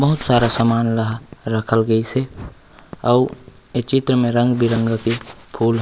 बहुत सारा सामान ला रखल गइस हे आउ ए चित्र के रंग-बिरंगा के फूल--